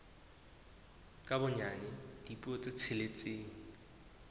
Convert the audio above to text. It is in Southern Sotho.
ka bonyane dipuo tse tsheletseng